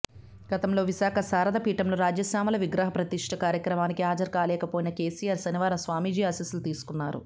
గతంలో విశాఖ శారదపీఠంలో రాజ్యశామల విగ్రహ ప్రతిష్ట కార్యక్రమానికి హాజరు కాలేకపోయిన కేసీఆర్ శనివారం స్వామీజీ ఆశీస్సులు తీసుకున్నారు